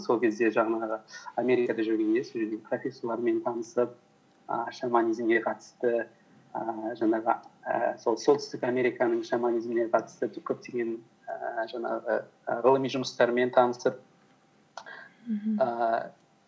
сол кезде жаңағы америкада жүргенде сол жерде профессорлармен танысып і шаманизмге қатысты ііі жаңағы ііі сол солтүстік американың шаманизміне қатысты көптеген ііі жаңағы і ғылыми жұмыстармен танысып мхм ііі